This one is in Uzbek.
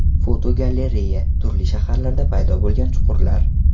Fotogalereya: Turli shaharlarda paydo bo‘lgan chuqurlar.